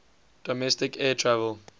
domestic air travel